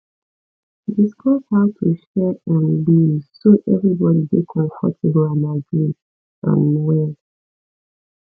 discuss how to share um bills so everybody dey comfortable and agree um well